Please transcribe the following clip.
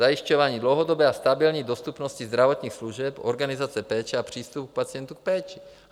Zajišťování dlouhodobé a stabilní dostupnosti zdravotních služeb, organizace péče a přístupu k pacientů k péči.